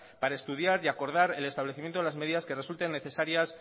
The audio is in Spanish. para estudiar y acordar el establecimiento de las medidas que resulten necesarias